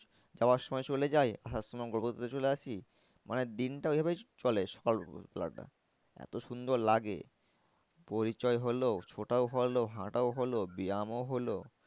যাওয়ার সময় চলে যাই আসার সময় গল্প করতে করতে চলে আসি। মানে দিনটা ওই ভাবেই চলে সকাল বেলাটা এত সুন্দর লাগে পরিচয় হলো ছোটাও হলো হাঁটাও হলো ব্যামও হলো